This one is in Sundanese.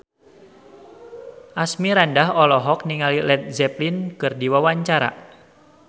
Asmirandah olohok ningali Led Zeppelin keur diwawancara